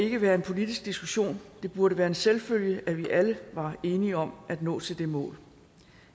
ikke være en politisk diskussion det burde være en selvfølge at vi alle var enige om at nå til det mål